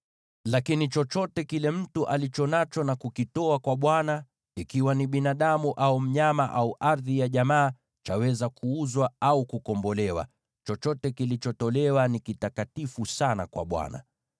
“ ‘Lakini chochote kile mtu alicho nacho na akakiweka wakfu kwa Bwana , iwe ni binadamu, au mnyama, au ardhi ya jamaa, hakiwezi kuuzwa au kukombolewa. Chochote kilichowekwa wakfu ni kitakatifu sana kwa Bwana .